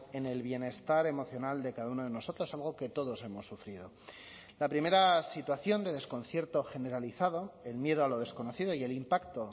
en el bienestar emocional de cada uno de nosotros algo que todos hemos sufrido la primera situación de desconcierto generalizado el miedo a lo desconocido y el impacto